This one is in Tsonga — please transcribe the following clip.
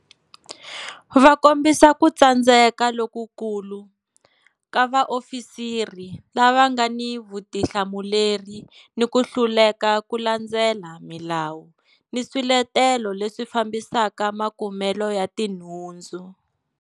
Va kombisa ku tsandzeka lokukulu ka vaofisiri lava nga ni vutihlamuleri ni ku hluleka ku landzelela milawu ni swiletelo leswi fambisaka makumelo ya tinhundzu.